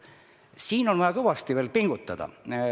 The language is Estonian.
Siin on vaja veel kõvasti pingutada.